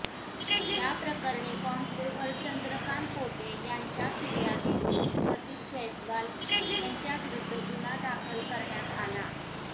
याप्रकरणी कॉन्स्टेबल चंद्रकांत पोटे यांच्या फिर्यादीवरून प्रदीप जैस्वाल यांच्याविरुद्ध गुन्हा दाखल करण्यात आला